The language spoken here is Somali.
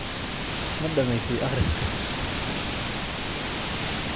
Ma dhammaysay akhriska?